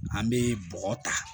An bɛ bɔgɔ ta